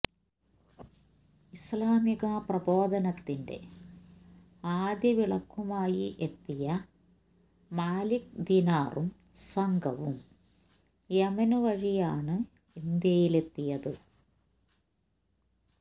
ഇസ്ലാമിക പ്രബോധനത്തിന്റെ ആദ്യ വിളക്കുമായി എത്തിയ മാലിക് ദീനാറും സംഘവും യമന് വഴിയാണ് ഇന്ത്യയിലെത്തിയത്